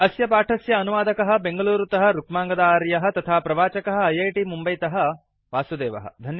अस्य पाठस्य अनुवादकः बेङ्गलूरुतः रुक्माङ्गद आर्यः तथा प्रवाचकः ऐऐटि मुम्बैतः वासुदेवः